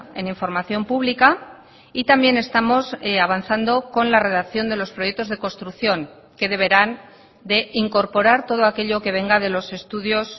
en información pública y también estamos avanzando con la redacción de los proyectos de construcción que deberán de incorporar todo aquello que venga de los estudios